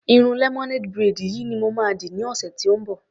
Irun lemonade braid yìí ni mo ma dì ní ọ̀sẹ̀ tí ó ń bọ̀.